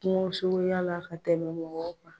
Kungo suguyala ka tɛmɛ mɔgɔw kan.